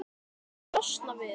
Viltu losna við-?